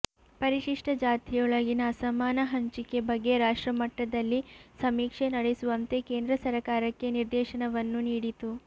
ಪರಿಶಿಷ್ಟ ಜಾತಿಯೊಳಗಿನ ಅಸಮಾನ ಹಂಚಿಕೆ ಬಗ್ಗೆ ರಾಷ್ಟ್ರಮಟ್ಟದಲ್ಲಿ ಸಮೀಕ್ಷೆ ನಡೆಸುವಂತೆ ಕೇಂದ್ರ ಸರಕಾರಕ್ಕೆ ನಿರ್ದೇಶವನ್ನು ನೀಡಿತು